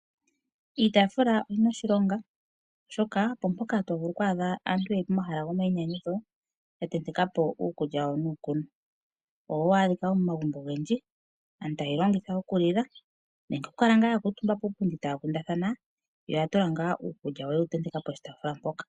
Iitaafula oyi na oshilonga oshoka opo mpoka to vulu okwaadha aantu ye li pomahala gomayinyanyudho, ya tenteka po uukulya wawo nuukunwa. Owo hawu adhika wo momagumbo ogendji, aantu taye wu longitha wo oku lila nenge oku kala ngaa ya kuutumba puupundi wawo taya kundathana, yo oya tula ngaa uukulya wawo yewu tenteka poshitaafula mpoka.